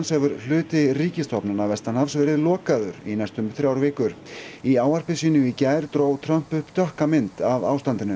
hefur hluti ríkisstofnana vestanhafs verið lokaður í næstum þrjár vikur í ávarpi sínu í gær dró Trump upp dökka mynd af ástandinu